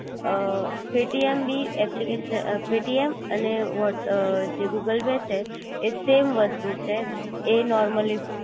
અ Paytm ભી application Paytm અને what અ જે ગૂગલ પે છે એ સેમ વસ્તુ છે એ નોરમલી